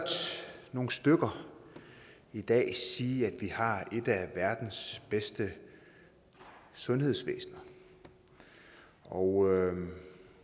nogle stykker i dag sige at vi har et af verdens bedste sundhedsvæsener og